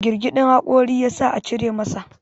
girgidin hakorin ya sa a cire masa